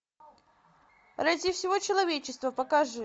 ради всего человечества покажи